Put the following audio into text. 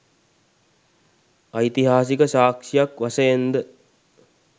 ඓතිහාසික සාක්ෂියක් වශයෙන් ද